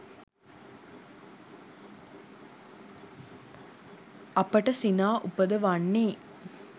අපට සිනා උපදවන්නේ